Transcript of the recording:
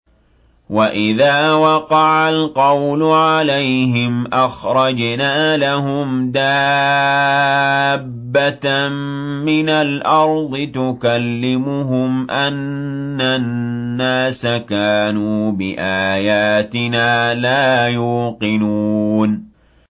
۞ وَإِذَا وَقَعَ الْقَوْلُ عَلَيْهِمْ أَخْرَجْنَا لَهُمْ دَابَّةً مِّنَ الْأَرْضِ تُكَلِّمُهُمْ أَنَّ النَّاسَ كَانُوا بِآيَاتِنَا لَا يُوقِنُونَ